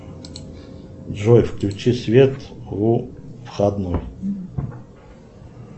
джой включи свет у входной